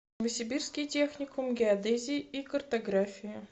новосибирский техникум геодезии и картографии